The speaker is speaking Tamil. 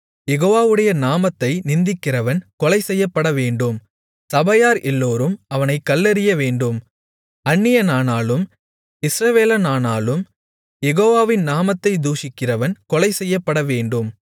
யெகோவாவுடைய நாமத்தை நிந்திக்கிறவன் கொலைசெய்யப்படவேண்டும் சபையார் எல்லோரும் அவனைக் கல்லெறியவேண்டும் அந்நியனானாலும் இஸ்ரவேலனானாலும் யெகோவாவின் நாமத்தைத் தூஷிக்கிறவன் கொலைசெய்யப்படவேண்டும்